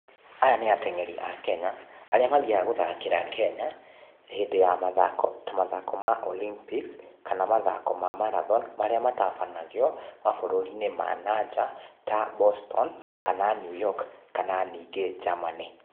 Aya nĩĩ atengeri a Kenya, aria mathiaga guthakĩra Kenya, hĩndĩ ya mathako, ta mathako ma olympics, kana mathako ma marathon, marĩa matabanagio, maburũriini manaja, ta boston, kana Newyork, kana nĩngĩ Germany.